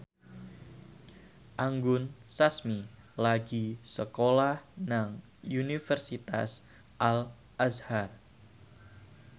Anggun Sasmi lagi sekolah nang Universitas Al Azhar